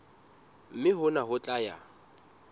mme hona ho tla ya